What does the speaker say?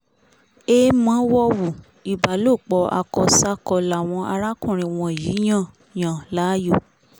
èèmọ̀ wọ̀ówù ìbálòpọ̀ akọ ṣàkó làwọn arákùnrin wọ̀nyí yàn yàn láàyò